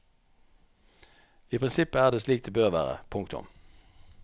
I prinsippet er det slik det bør være. punktum